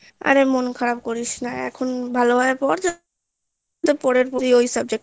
অরে মন খারাপ করিস না এখন ভালো ভাবে পর পরবর্তী ওই subject টা